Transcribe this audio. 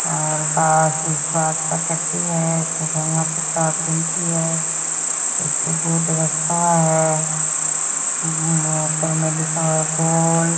और बांस उस बांस का टट्टी है। एकठो है। एकठो बोर्ड रखा हुआ है। उम्म ऊपर में लिखा हुआ है बोल --